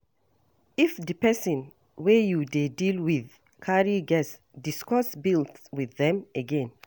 If di person wey you dey deal with carry guest, discuss bills with them again